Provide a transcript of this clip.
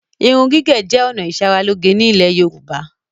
Irun gígẹ̀ jẹ ọ̀nà ìsaráloge ni ilẹ̀ Yorùbá.